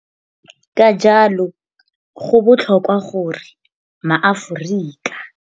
Ka jalo, go botlhokwa gore maAforika.